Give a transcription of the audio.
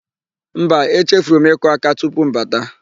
Mba, echefuru m ịkụ áká tupu m bata.